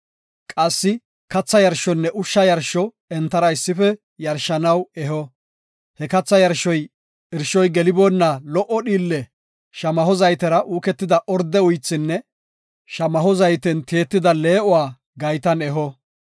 Qassi katha yarshonne ushsha yarsho entara issife yarshanaw eho. He katha yarshoy irshoy geliboonna lo77o dhiille shamaho zaytera uuketida orde uythinne shamaho zayten tiyetida lee7o gaytan eho.